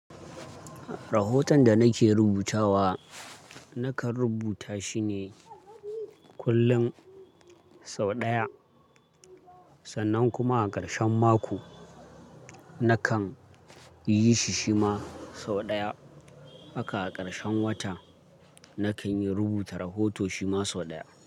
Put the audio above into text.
Rahoton da nake rubutawa, nakan rubuta shine kullum sau ɗaya. Sannan kuma a ƙarshen mako, nakan yi shi shima sau ɗaya. Haka a ƙarshen wata, nakan yi rubuta rahoto shima sau ɗaya.